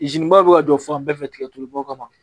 bɛ ka jɔ fan bɛɛ fɛ tigɛtuluba kama